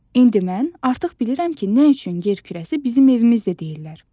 İndi mən artıq bilirəm ki, nə üçün yer kürəsi bizim evimiz də deyirlər.